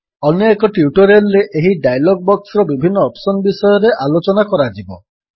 ଅନ୍ୟଏକ ଟ୍ୟୁଟୋରିଆଲ୍ ରେ ଏହି ଡାୟଲଗ୍ ବକ୍ସର ବିଭିନ୍ନ ଅପ୍ସନ୍ ବିଷୟରେ ଆଲୋଚନା କରାଯିବ